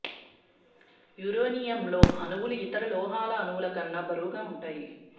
యురేనియంలోని అణువులు ఇతర లోహాల అణువుల కన్నా బరువుగా ఉంటాయి